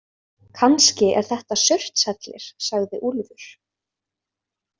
Kannski er þetta Surtshellir, sagði Úlfur.